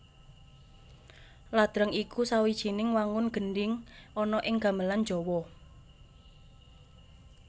Ladrang iku sawijining wangun gendhing ana ing gamelan Jawa